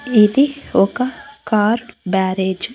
ఇది ఒక కార్ బ్యారేజ్ .